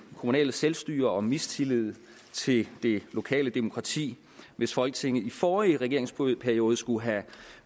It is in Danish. kommunale selvstyre og mistillid til det lokale demokrati hvis folketinget i forrige regeringsperiode skulle have